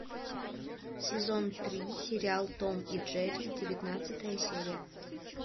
сезон три сериал том и джерри девятнадцатая серия